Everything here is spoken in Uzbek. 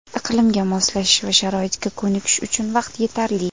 Iqlimga moslashish va sharoitga ko‘nikish uchun vaqt yetarli.